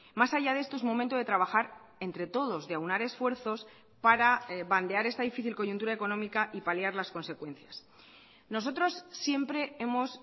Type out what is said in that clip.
más allá de esto es momento de trabajar entre todos de aunar esfuerzos para bandear esta difícil coyuntura económica y paliar las consecuencias nosotros siempre hemos